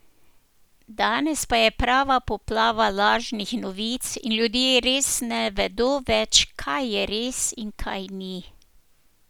Danes pa je prava poplava lažnih novic in ljudje res ne vedo več, kaj je res in kaj ni.